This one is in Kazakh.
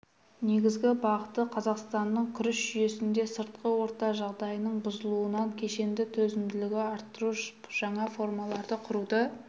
негізгі бағыты қазақстанның күріш жүйесінде сыртқы орта жағдайының бұзылуынан кешенді төзімділігін арттыру жаңа формаларды құруды